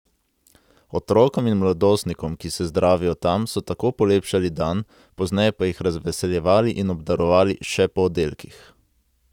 Otrokom in mladostnikom, ki se zdravijo tam, so tako polepšali dan, pozneje pa jih razveseljevali in obdarovali še po oddelkih.